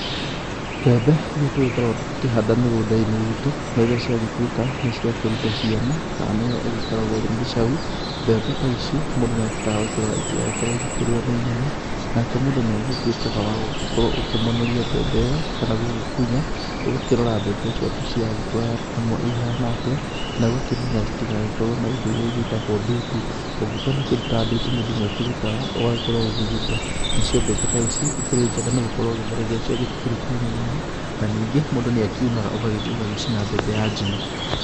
Mbembe iria tũgĩkoragwo tũgĩkĩhanda mĩgũnda-inĩ itũ rĩrĩa ciagĩtuĩka nĩ ciakĩruta ciana kana nĩyo ĩgĩkoragwo ĩrĩ mĩcau. Mbembe ta icio mũndũ nĩagĩbataraga gũkĩrora itigagĩkorwo ikĩrio ninyoni, nake mũndũ nĩ agĩtuĩkaga wa gũkorwo ũkĩmonoria mbembe ĩyo kana gũgĩkũna. Ũgakĩrora mbembe ciaku ciragĩkũra ihana atĩa na ũgakĩmenya citigagĩkorwo na indo iria cigĩtagwo ndutu. Ũngĩkĩona kĩndũ ta ndutu mũndũ nĩ akĩrutaga ũgagĩkorwo ũgĩgĩte. Nacio mbembe ta ici ikĩrĩ njega nĩ gũkorwo gĩthere gĩacio gĩtikĩrĩ kĩũmũ mũno. na ningĩ mũndũ nĩ akiunaga ũgagĩthiĩ ũgagĩcina mbembe ya njino.